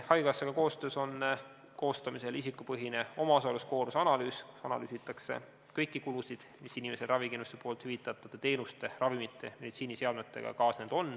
Haigekassaga koostöös on meil koostamisel isikupõhine omaosaluskoormuse analüüs, kus analüüsitakse kõiki kulusid, mis on inimesele ravikindlustusega hüvitatud teenuste, ravimite ja meditsiiniseadmetega kaasnenud.